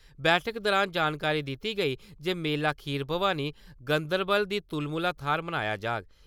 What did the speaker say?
बैठक दुरान जानकारी दित्ती गेई जे मेला खीर भवानी गंदरवाल दी तुलमुहा थाह्‌र मनाया जाह्ग।